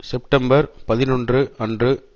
September பதினொன்று அன்று